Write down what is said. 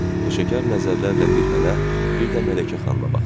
Peşəkar nəzərlərlə bir mənə, bir də Mələkə xanıma baxdı.